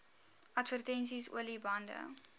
advertensies olie bande